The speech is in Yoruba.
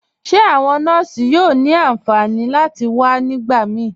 Ṣe awọn nọọ̀ṣì yóò ni ánfànì láti wà nígbàmí?